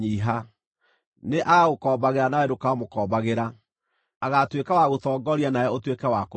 Nĩ agagũkombagĩra nowe ndũkamũkombagĩra. Agaatuĩka wa gũtongoria nawe ũtuĩke wa kũrigia.